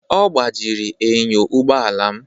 Ọ gbajiri enyo ụgbọ ala m